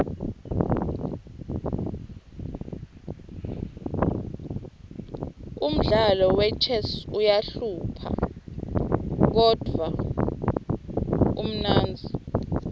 umdlalo wechess uqahlupha kodruh umnendti